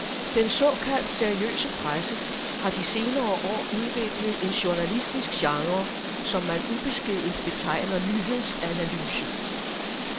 Den såkaldt seriøse presse har de senere år udviklet en journalistisk genre, som man ubeskedent betegner nyhedsanalyse.